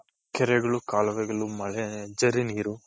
ಕೆರೆಗಳು, ಕಾಲುವೆಗಳು, ಮಳೆ, ಝರಿ ನೀರು.